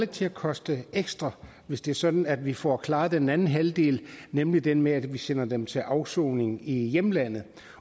til at koste ekstra hvis det er sådan at vi får klaret den anden halvdel nemlig den med at vi sender dem til afsoning i hjemlandet